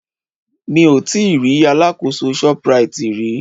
Mi ò tíì rí alákòóso Shoprite rí.